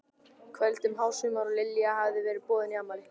kvöldi um hásumar og Lilja hafði verið boðin í afmæli.